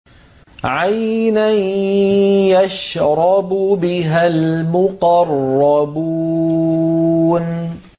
عَيْنًا يَشْرَبُ بِهَا الْمُقَرَّبُونَ